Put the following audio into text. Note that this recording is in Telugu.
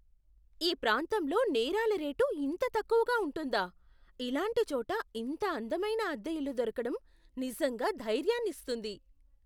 ఈ ప్రాంతంలో నేరాల రేటు ఇంత తక్కువగా ఉంటుందా! ఇలాంటి చోట ఇంత అందమైన అద్దె ఇల్లు దొరకడం నిజంగా ధైర్యాన్ని ఇస్తుంది.